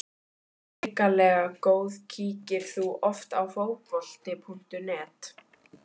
Hrikalega góð Kíkir þú oft á Fótbolti.net?